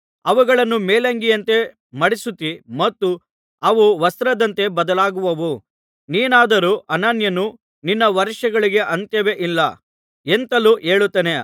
ಅವುಗಳನ್ನು ಮೇಲಂಗಿಯಂತೆ ಮಡಿಸುತ್ತೀ ಮತ್ತು ಅವು ವಸ್ತ್ರದಂತೆ ಬದಲಾಗುವವು ನೀನಾದರೂ ಅನನ್ಯನು ನಿನ್ನ ವರ್ಷಗಳಿಗೆ ಅಂತ್ಯವೇ ಇಲ್ಲ ಎಂತಲೂ ಹೇಳುತ್ತಾನೆ